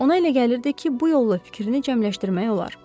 Ona elə gəlirdi ki, bu yolla fikrini cəmləşdirmək olar.